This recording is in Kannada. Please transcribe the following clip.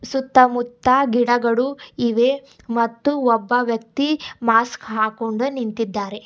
ಸುತ್ತ ಮುತ್ತ ಗಿಡಗಳು ಇವೆ ಮತ್ತು ಒಬ್ಬ ವ್ಯಕ್ತಿ ಮಾಸ್ಕ್ ಹಾಕೊಂಡ ನಿಂತಿದ್ದಾರೆ.